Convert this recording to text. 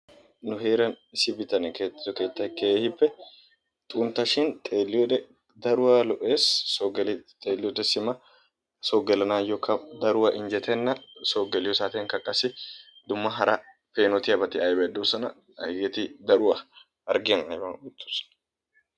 Nu heeraan issi bittanee keexxido keettay keehiippe xunttashin xeelliyode daruwa lo'ees so gido geli xeeliyode simma so gelannaayokka simma daruwa injjetenna. Soo geliyo saatiyankk qassi dumma peenotyiyabatti aybati doosona. Hageeti daruwa harggiyan ayban oyttees.